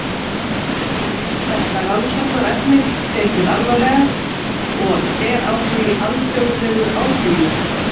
Er þetta rannsóknarefni tekið alvarlega og er á því alþjóðlegur áhugi?